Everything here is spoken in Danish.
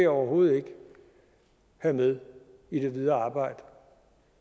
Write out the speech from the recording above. overhovedet ikke have med i det videre arbejde